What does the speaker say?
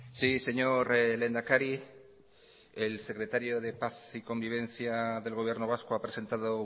sí señor lehendakari el secretario de paz y convivencia del gobierno vasco ha presentado